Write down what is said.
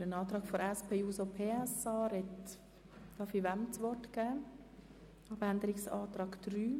Wem darf ich das Wort für den Antrag der SPJUSO-PSA erteilen?